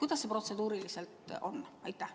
Kuidas see protseduuriliselt on?